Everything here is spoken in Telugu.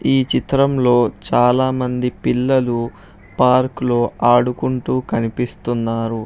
ఈ చిత్రంలో చాలామంది పిల్లలు పార్కు లో ఆడుకుంటూ కనిపిస్తున్నారు.